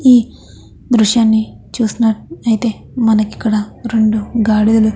ఈ దృశ్యాన్ని చూసినట్లయితే మనకి ఇక్కడ రెండు గాడిదలు--